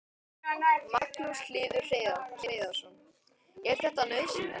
Magnús Hlynur Hreiðarsson: Er þetta nauðsynlegt?